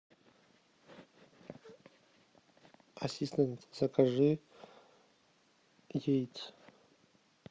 ассистент закажи яиц